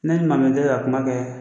Ne ni tɛ ka kuma kɛ